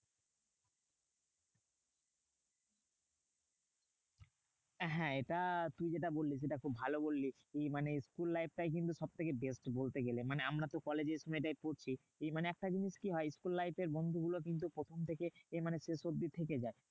হ্যাঁ এটা তুই যেটা বললি সেটা খুব ভালো বললি। তুই মানে school life টাই কিন্তু সব থেকে best বলতে গেলে। মানে আমরা তো কলেজে এই সময়টায় পড়ছি, মানে একটা জিনিস কি হয়? school life এর বন্ধু গুলো কিন্তু প্রথম থেকে মানে শেষ অব্ধি থেকে যায়।